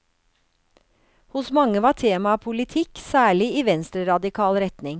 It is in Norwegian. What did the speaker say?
Hos mange var temaet politikk, særlig i venstreradikal retning.